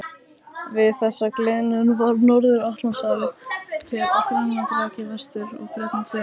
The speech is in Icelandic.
Við þessa gliðnun varð Norður-Atlantshafið til og Grænland rak í vestur en Bretlandseyjar í austur.